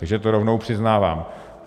Takže to rovnou přiznávám.